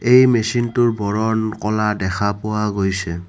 এই মেচিন টোৰ বৰণ ক'লা দেখা পোৱা গৈছে।